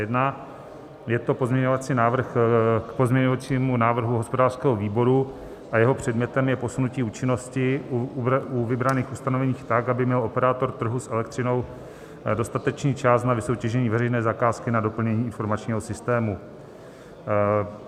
Je to pozměňovací návrh k pozměňovacímu návrhu hospodářského výboru a jeho předmětem je posunutí účinnosti u vybraných ustanovení tak, aby měl operátor trhu s elektřinou dostatečný čas na vysoutěžení veřejné zakázky na doplnění informačního systému.